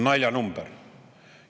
Naljanumber!